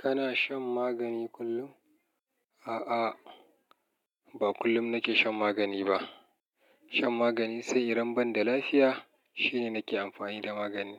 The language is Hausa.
Kana shan magani kullum? A'a, ba kullum nake shan magani ba. Shan magani sai idan banda lafiya shine nake amfani da magani.